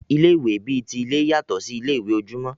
Ilé ìwé bi ti ilé yàtọ sí ilé ìwé ojúmọ́.